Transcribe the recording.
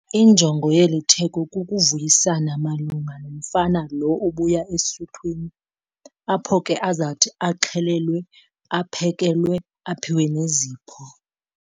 Injongo yeli theko kukuvuyisana malunga nomfana lo ubuya esuthwini apho ke azathi axhelelwe, aphekelewe, aphiwe nezipho.